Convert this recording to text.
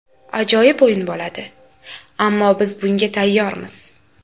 Ajoyib o‘yin bo‘ladi, ammo biz bunga tayyormiz.